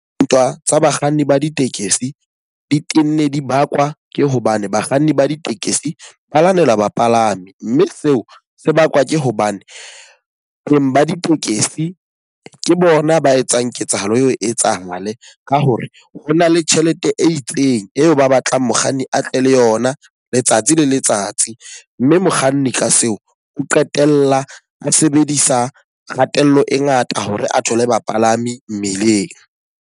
Ntwa tsa bakganni ba ditekesi di tenne di bakwa ke hobane bakganni ba ditekesi ba lwanela bapalami. Mme seo se bakwa ke hobane beng ba ditekesi ke bona ba etsang ketsahalo eo e etsahale. Ka hore ho na le tjhelete e itseng eo ba batlang mokganni a tle le yona letsatsi le letsatsi. Mme mokganni ka seo o qetella a sebedisa kgatello e ngata hore a thole bapalami mmileng.